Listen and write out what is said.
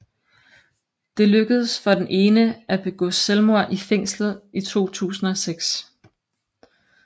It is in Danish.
Det lykkedes for den ene at begå selvmord i fængslet i 2006